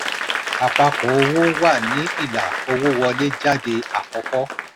àpapọ̀ owó wà ní ilà owó wọlé/jáde àkọ́kọ́.